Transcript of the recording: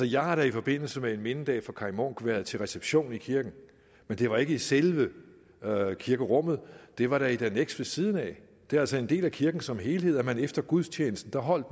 jeg har da i forbindelse med en mindedag for kaj munk været til reception i kirken men det var ikke i selve kirkerummet det var da i et anneks ved siden af det er altså en del af kirken som helhed der kan man efter gudstjenesten holde